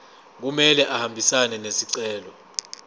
kumele ahambisane nesicelo